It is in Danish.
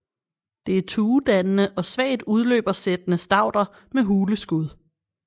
Det er tuedannende og svagt udløbersættende stauder med hule skud